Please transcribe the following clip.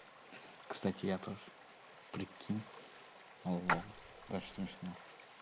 кстати я тоже прикинь лол тоже смешно